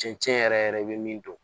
Cɛncɛn yɛrɛ yɛrɛ bɛ min don